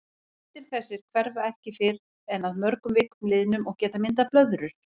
Blettir þessir hverfa ekki fyrr en að mörgum vikum liðnum og geta myndað blöðrur.